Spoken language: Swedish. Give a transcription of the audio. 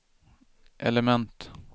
element